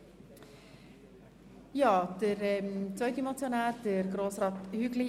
Demnach kommen wir zur Abstimmung.